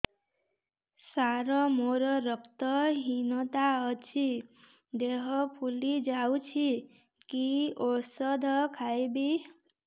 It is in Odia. ସାର ମୋର ରକ୍ତ ହିନତା ଅଛି ଦେହ ଫୁଲି ଯାଉଛି କି ଓଷଦ ଖାଇବି